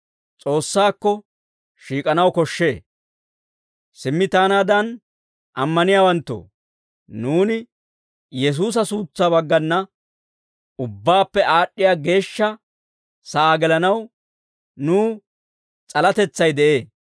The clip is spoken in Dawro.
Simmi taanaadan ammaniyaawanttoo, nuuni Yesuusa suutsaa baggana Ubbaappe Aad'd'iyaa Geeshsha sa'aa gelanaw nuw s'alatetsay de'ee.